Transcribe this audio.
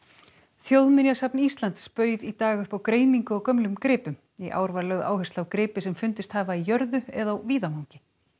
þjóðminjasafn Íslands bauð í dag upp á greiningu á gömlum gripum í ár var lögð áhersla á gripi sem fundist hafa í jörðu eða á víðavangi